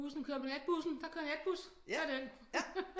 Bussen kør med natbussen der kører natbus tag den